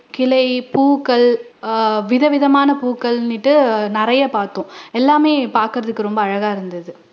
கிளை, பூக்கள் அஹ் விதவிதமான பூக்களுன்னுட்டு நிறைய பாத்தோம் எல்லாமே பாக்குறதுக்கு ரொம்ப அழகா இருந்துது